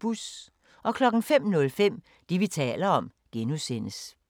05:05: Det, vi taler om (G)